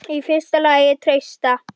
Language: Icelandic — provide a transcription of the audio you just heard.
Í fyrsta lagi treysta